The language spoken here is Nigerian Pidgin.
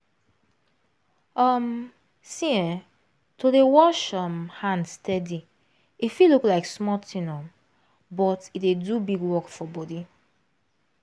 um see[um]to dey wash um hand steady e fit look like small thing um but e dey do big work for body